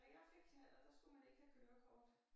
Da jeg fik knallert der skulle man ikke have kørekort